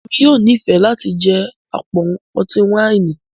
Èmi yóò n'ifẹ láti jẹ apọn ọti-waini